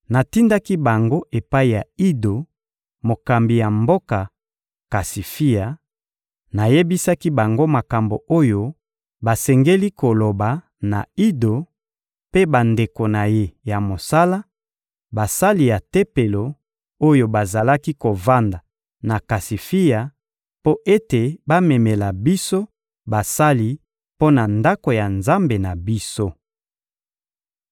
Natindaki bango epai ya Ido, mokambi ya mboka Kasifia; nayebisaki bango makambo oyo basengeli koloba na Ido mpe bandeko na ye ya mosala, basali ya Tempelo, oyo bazalaki kovanda na Kasifia, mpo ete bamemela biso basali mpo na Ndako ya Nzambe na biso.